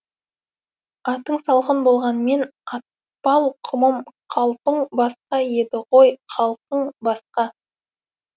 атың салқын болғанмен атпал құмым қалпың басқа еді ғой халқың басқа